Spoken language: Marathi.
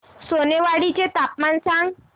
सोनेवाडी चे तापमान सांग